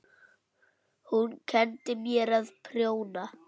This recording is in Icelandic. Hún kenndi mér að prjóna.